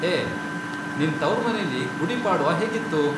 ಹೇ, ನಿನ್ ತವ್ರ್ಮನೆಲಿ ಗುಡಿ ಪಾಡ್ವ ಹೇಗಿತ್ತು?